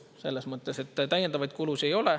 Selles mõttes täiendavaid kulusid ei ole.